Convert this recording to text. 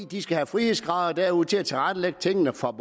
de skal have frihedsgrader derude til at tilrettelægge tingene for